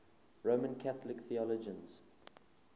roman catholic theologians